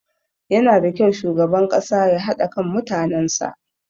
Yanada kyau shugaban ƙasa ya haɗa kan mutanen sa.